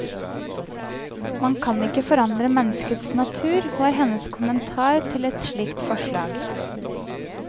Man kan ikke forandre menneskets natur, var hennes kommentar til et slikt forslag.